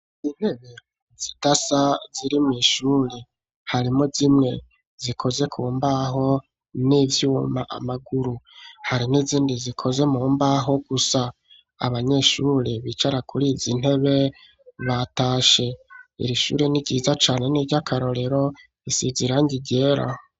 Intebe zidasa ziri mw'ishuri harimwo zimwe zikoze ku mbaho n'ivyuma amaguru hari n'izindi zikoze mu mbaho gusa abanyeshuri bicara kurizi ntebe batashe iri shuri n'iryiza cane n'iryakarorero risize irangi ryera.